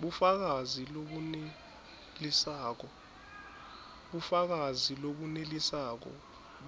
bufakazi lobunelisako